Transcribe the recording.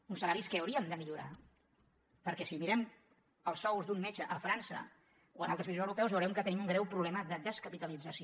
uns salaris que hauríem de millorar perquè si mirem els sous d’un metge a frança o en altres països europeus veurem que tenim un greu problema de descapitalització